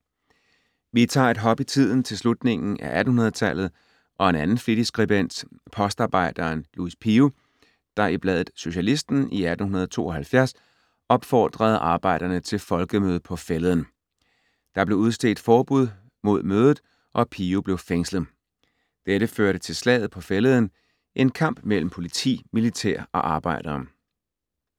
Vi tager et hop i tiden til slutningen af 1800-tallet og en anden flittig skribent, postarbejderen Louis Pio, der i bladet Socialisten i 1872 opfordrede arbejderne til "folkemøde på fælleden". Der blev udstedt forbud mod mødet, og Pio blev fængslet. Dette førte til Slaget på Fælleden, en kamp mellem politi, militær og arbejdere.